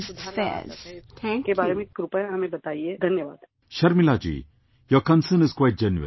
Sharmilaji, your concern is quite genuine